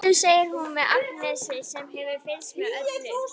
Komdu, segir hún við Agnesi sem hefur fylgst með öllu.